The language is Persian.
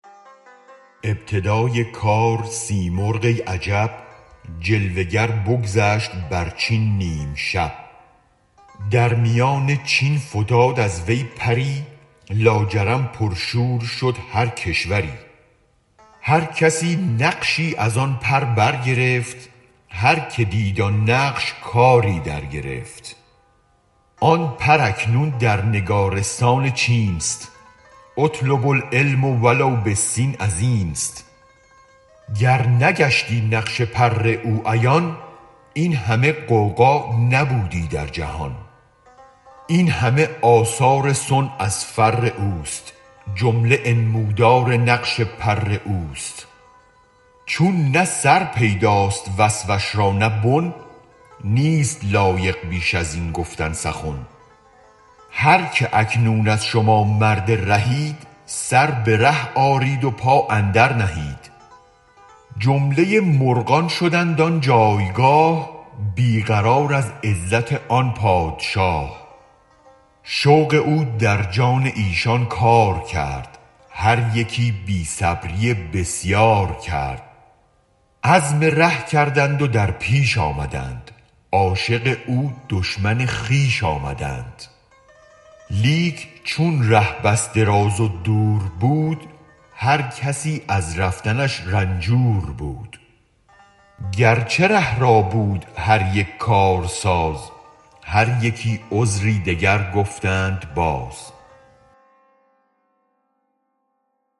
ابتدای کار سیمرغ ای عجب جلوه گر بگذشت بر چین نیم شب در میان چین فتاد از وی پری لاجرم پرشور شد هر کشوری هر کسی نقشی از آن پر برگرفت هر که دید آن نقش کاری درگرفت آن پر اکنون در نگارستان چین ست اطلبو العلم و لو بالصین ازین ست گر نگشتی نقش پر او عیان این همه غوغا نبودی در جهان این همه آثار صنع از فر اوست جمله انمودار نقش پر اوست چون نه سر پیداست وصفش را نه بن نیست لایق بیش از این گفتن سخن هر که اکنون از شما مرد رهید سر به راه آرید و پا اندر نهید جمله مرغان شدند آن جایگاه بی قرار از عزت آن پادشاه شوق او در جان ایشان کار کرد هر یکی بی صبری بسیار کرد عزم ره کردند و در پیش آمدند عاشق او دشمن خویش آمدند لیک چون ره بس دراز و دور بود هر کسی از رفتنش رنجور بود گر چه ره را بود هر یک کارساز هر یکی عذری دگر گفتند باز